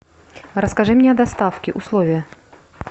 расскажи мне о доставке условия